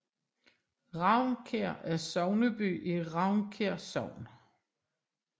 Ravnkær er sogneby i Ravnkær Sogn